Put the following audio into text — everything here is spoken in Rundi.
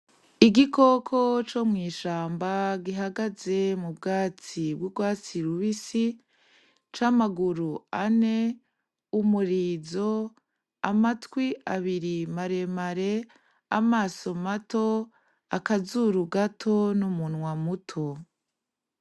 Igikoko co mu ishamba gihagaze mu bwatsi bw'urwatsi rubisi c'amaguru ane, umurizo, amatwi abiri maremare ,amaso mato akazuru gato n'umunwa muto.